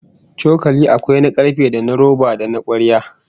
Cokali akwai na karfe, da na roba, da na kwarya